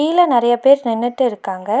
கீழ நறையா பேர் நின்னுட்டு இருக்காங்க.